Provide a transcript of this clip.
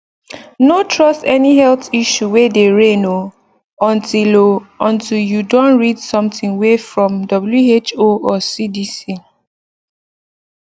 no trust any health issue way dey reign o untill o untill you don read something way from who or cdc